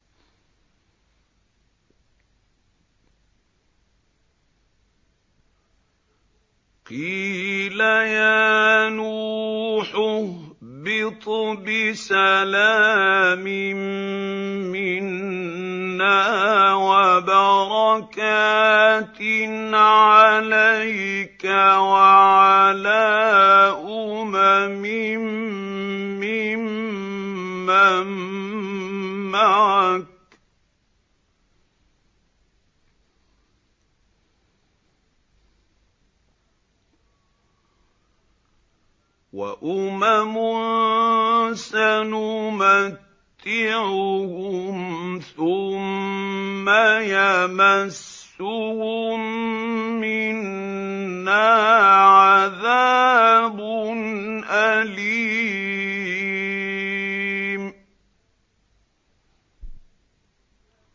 قِيلَ يَا نُوحُ اهْبِطْ بِسَلَامٍ مِّنَّا وَبَرَكَاتٍ عَلَيْكَ وَعَلَىٰ أُمَمٍ مِّمَّن مَّعَكَ ۚ وَأُمَمٌ سَنُمَتِّعُهُمْ ثُمَّ يَمَسُّهُم مِّنَّا عَذَابٌ أَلِيمٌ